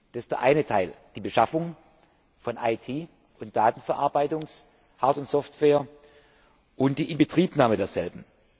Das ist der eine Teil die Beschaffung von IT und Datenverarbeitungshard und software und die Inbetriebnahme derselben.